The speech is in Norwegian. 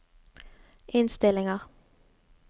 innstillinger